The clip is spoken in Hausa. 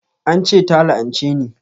An ce ta la'anche ni